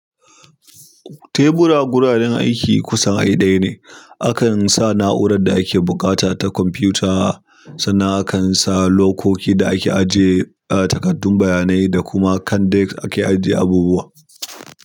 Tebura guraren aiki kusan ai ɗaya ne. Akan sa na'urar da ake buƙata ta kwamfuta, sannan akan sa lokoki da ake ajiye takardun bayanai da kuma kan dek ake ajiye abubuwa.